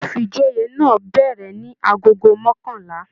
Ifíjòyè náà n bẹrẹ ní agogo mọkanla.